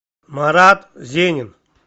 марат зенин